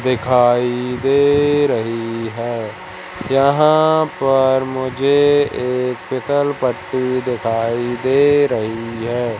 दिखाई दे रही है यहां पर मुझे एक पीसल पट्टी दिखाई दे रही है।